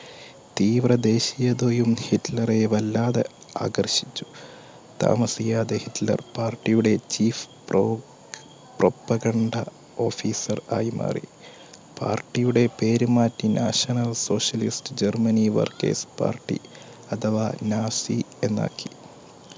താമസിയാതെ ഹിറ്റ്ലർ പാർട്ടിയുടെ chief propaganda officer ആയി മാറി പാർട്ടിയുടെ പേര് മാറ്റി national socialist Germany workers party അഥവാ നാസി എന്നാക്കി. ഹിറ്റ്ലർ തന്നെയാണ് സ്വസ്തികപറുഥി